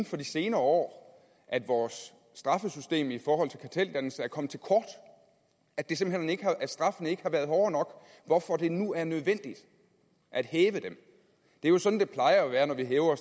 for de senere år at vores straffesystem i forhold til karteldannelse er kommet til kort at straffen ikke har været hård nok hvorfor det nu er nødvendigt at hæve den det er jo sådan det plejer at være når vi hæver